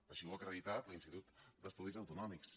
així ho ha acreditat l’institut d’estudis autonòmics